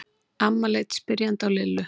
Amma leit spyrjandi á Lillu.